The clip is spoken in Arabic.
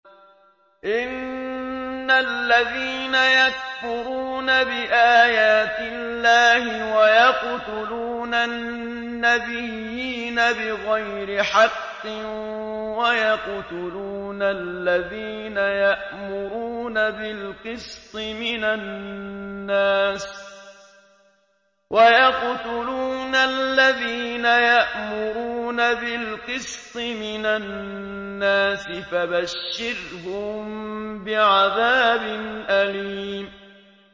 إِنَّ الَّذِينَ يَكْفُرُونَ بِآيَاتِ اللَّهِ وَيَقْتُلُونَ النَّبِيِّينَ بِغَيْرِ حَقٍّ وَيَقْتُلُونَ الَّذِينَ يَأْمُرُونَ بِالْقِسْطِ مِنَ النَّاسِ فَبَشِّرْهُم بِعَذَابٍ أَلِيمٍ